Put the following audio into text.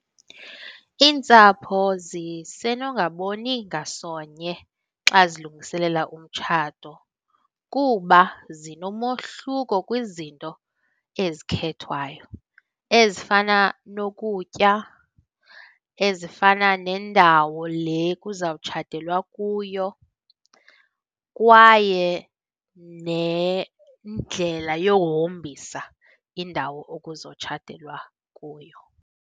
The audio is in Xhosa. Iintsapho zisenongaboni ngasonye xa zilungiselela umtshato kuba zinomohluko kwizinto ezikhethwayo ezifana nokutya, ezifana nendawo le kuzawutshatelwa kuyo kwaye nendlela yohombisa indawo okuzotshatelwa kuyo.